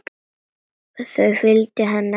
Þau fylgja henni eftir.